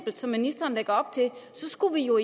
som ministeren lægger op til skulle vi jo